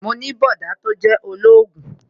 Mo ní bọ̀dá tó jẹ́ ológun